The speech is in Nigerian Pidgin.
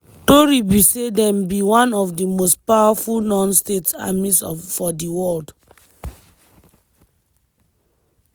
tori be say dem be one of di most powerful non-state armies for di world.